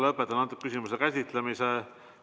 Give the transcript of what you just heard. Lõpetan selle küsimuse käsitlemise.